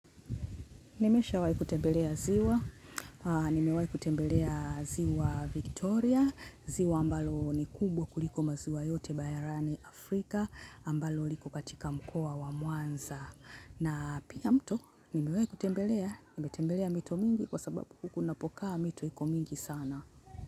Nimeshawai kutembelea ziwa nimewai kutembelea ziwa Victoria ziwa ambalo ni kubwa kuliko maziwa yote barani Africa ambalo like katika mkoa wa mwanza na pia mto, nimewai kutembelea, nimetembelea mito mingi kwa sababu huku napokaa mito iko mingi sana.